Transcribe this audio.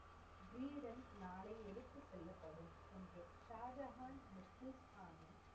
கிரீடம் நாளை எடுத்து செல்லப்படும் என்று ஷாஜகான்